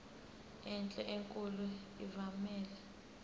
enhle enkulu evumela